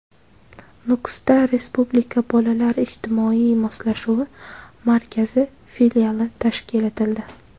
Nukusda Respublika bolalar ijtimoiy moslashuvi markazi filiali tashkil etildi.